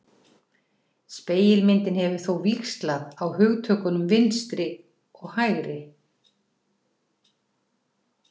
Spegilmyndin hefur þó víxlað á hugtökunum hægri og vinstri.